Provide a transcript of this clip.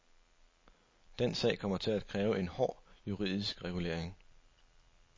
Den sag kommer til at kræve en hård juridisk regulering.